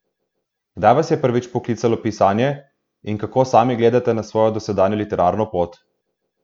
Kdaj vas je prvič poklicalo pisanje in kako sami gledate na svojo dosedanjo literarno pot?